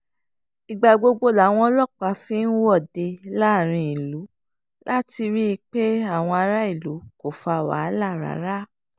ìgbà gbogbo làwọn ọlọ́pàá fi ń wọ́de láàrin ìlú láti rí i pé àwọn aráàlú kò fa wàhálà rárá